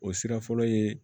O sira fɔlɔ ye